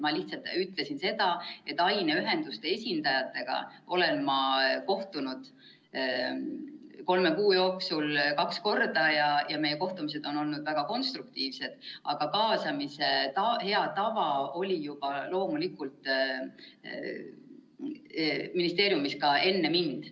Ma lihtsalt ütlesin, et aineühenduste esindajatega olen ma kohtunud kolme kuu jooksul kaks korda ja meie kohtumised on olnud väga konstruktiivsed, aga kaasamise hea tava oli juba loomulikult ministeeriumis ka enne mind.